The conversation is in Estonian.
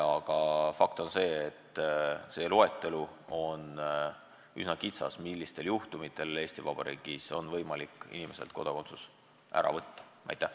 Aga fakt on see, et see loetelu, millistel juhtumitel on Eesti Vabariigis võimalik inimeselt kodakondsus ära võtta, on lühike.